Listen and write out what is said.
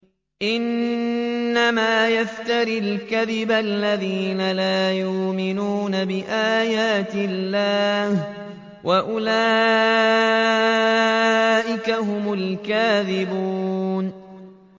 إِنَّمَا يَفْتَرِي الْكَذِبَ الَّذِينَ لَا يُؤْمِنُونَ بِآيَاتِ اللَّهِ ۖ وَأُولَٰئِكَ هُمُ الْكَاذِبُونَ